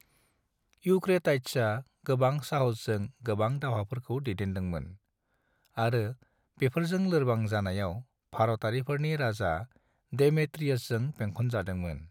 यूक्रेटाइड्सा गोबां साहसजों गोबां दावहाफोरखौ दैदेनदोंमोन, आरो बेफोरजों लोरबां जानायाव, भारतारिफोरनि राजा डेमेट्रियसजों बेंखन जादोंमोन।